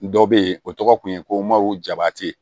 Dɔ be yen o tɔgɔ kun ye ko maw jabate